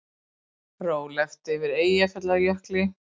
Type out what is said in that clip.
Rólegt yfir Eyjafjallajökli